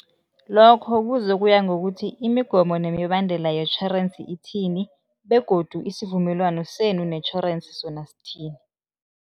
Lokho kuzokuya ngokuthi imigomo nemibandela yetjhorensi ithini begodu isivumelwano senu netjhorensi sona sithini.